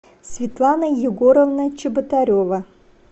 светлана егоровна чеботарева